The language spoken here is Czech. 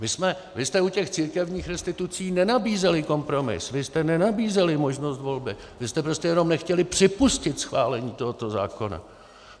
Vy jste u těch církevních restitucí nenabízeli kompromis, vy jste nenabízeli možnost volby, vy jste prostě jenom nechtěli připustit schválení tohoto zákona.